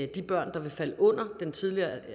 de børn der vil falde under den tidligere